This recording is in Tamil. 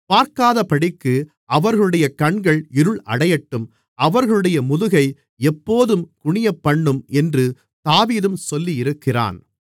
பார்க்காதபடிக்கு அவர்களுடைய கண்கள் இருள் அடையட்டும் அவர்களுடைய முதுகை எப்போதும் குனியப்பண்ணும் என்று தாவீதும் சொல்லியிருக்கிறான்